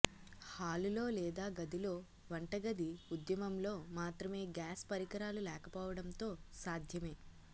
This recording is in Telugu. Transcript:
హాలులో లేదా గదిలో వంటగది ఉద్యమం లో మాత్రమే గ్యాస్ పరికరాలు లేకపోవడంతో సాధ్యమే